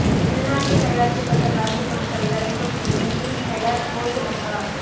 உள்நாட்டில் தயாரிக்கப்பட்ட மருந்துப் பொருட்களை அறிமுகம் செய்யும் பீம் ஹெல ஒசு லங்கா